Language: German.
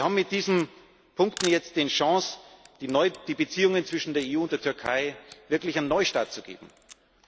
Wir haben mit diesen Punkten jetzt die Chance, den Beziehungen zwischen der EU und der Türkei wirklich einen Neustart zu geben,